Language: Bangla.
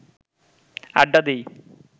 আড্ডা দিই